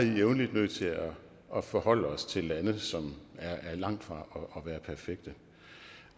jævnligt nødt til at forholde os til lande som er langt fra